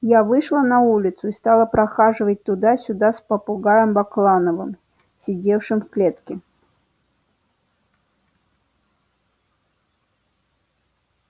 я вышла на улицу и стала прохаживать туда-сюда с попугаем баклановым сидевшим в клетке